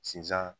Sinzan